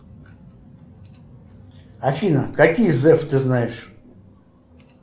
афина какие зэф ты знаешь